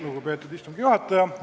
Lugupeetud istungi juhataja!